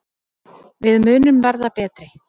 Við munum verða betri.